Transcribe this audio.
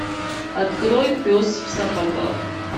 открой пес в сапогах